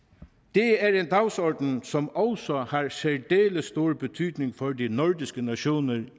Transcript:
det er en dagsorden som også har særdeles stor betydning for de nordiske nationer